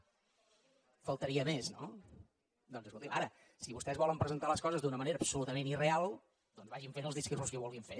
només faltaria no ara si vostès volen presentar les coses d’una manera absolutament irreal doncs vagin fent els discursos que vulguin fer